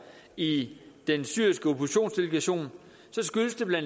i den syriske oppositionsdelegation skyldes det bla